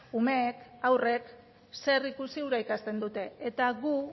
umeek haurrek zer ikusi hura ikasten dute eta gu